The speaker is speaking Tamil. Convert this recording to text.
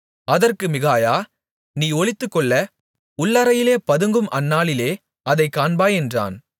அதற்கு மிகாயா நீ ஒளித்துக்கொள்ள உள்ளறையிலே பதுங்கும் அந்நாளிலே அதைக் காண்பாய் என்றான்